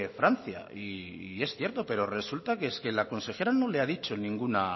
francia y es cierto pero resulta es que la consejera no le ha dicho